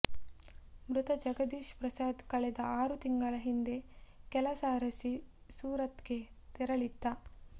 ಮೃತ ಜಗದೀಶ್ ಪ್ರಸಾದ್ ಕಳೆದ ಆರು ತಿಂಗಳ ಹಿಂದೆ ಕೆಲಸ ಅರಸಿ ಸೂರತ್ ಗೆ ತೆರಳಿದ್ದ